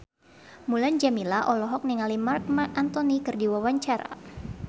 Mulan Jameela olohok ningali Marc Anthony keur diwawancara